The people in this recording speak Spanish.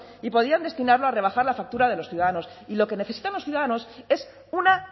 y podían destinarlo a rebajar la factura de los ciudadanos y lo que necesitan los ciudadanos es una